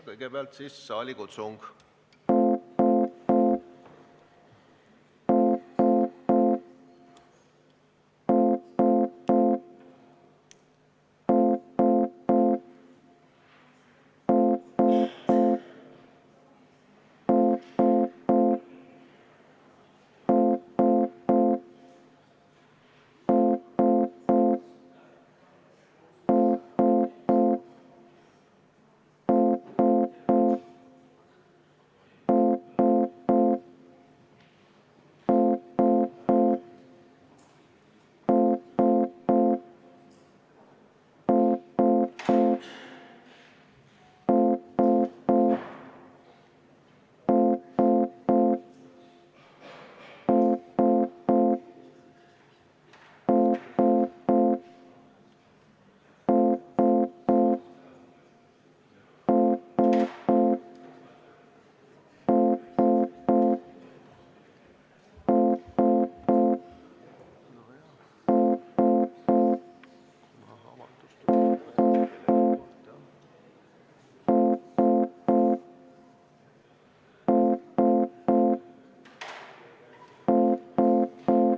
Kõigepealt siis saalikutsung.